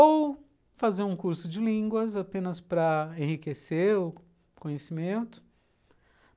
Ou fazer um curso de línguas apenas para enriquecer o conhecimento.